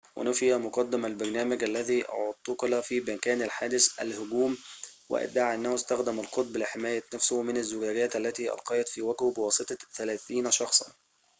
ونفى مقدم البرنامج الذي اعتُقل في مكان الحادث الهجوم وادعى انه استخدم القطب لحماية نفسه من الزجاجات التي ألقيت في وجهه بواسطة ثلاثين شخصاً